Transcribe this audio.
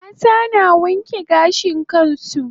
Mata na wanke gashin su